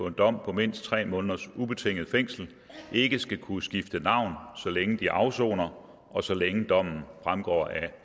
en dom på mindst tre måneders ubetinget fængsel ikke skal kunne skifte navn så længe de afsoner og så længe dommen fremgår af